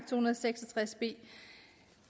hundrede og seks og tres b